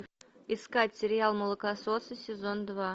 искать сериал молокососы сезон два